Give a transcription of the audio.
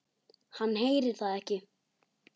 Hann heyrir það ekki.